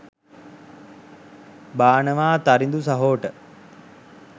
බානවා තරිඳු සහෝට